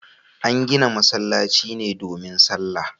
An gina masallaci ne domin salla